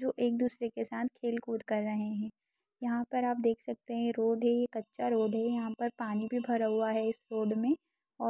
जो एक दूसारे के साथ खेल कूद कर रहे है यहाँ पर आप देख सकते है रोड है ये कच्चा रोड है यहाँ पर पानी भी भरा हुआ है इस रोड में